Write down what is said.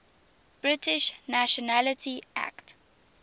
british nationality act